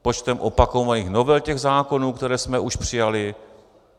Počtem opakovaných novel těch zákonů, které jsme už přijali?